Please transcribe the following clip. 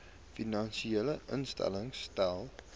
finansiële instellings stel